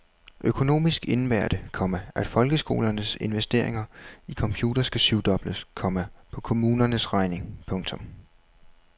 Økonomisk indebærer det, komma at folkeskolernes investeringer i computere skal syv dobles, komma på kommunernes regning. punktum